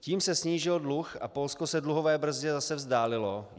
Tím se snížil dluh a Polsko se dluhové brzdě zase vzdálilo.